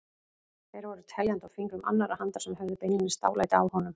Þeir voru teljandi á fingrum annarrar handar sem höfðu beinlínis dálæti á honum.